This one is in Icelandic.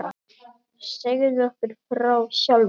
Segðu okkur frá sjálfum þér.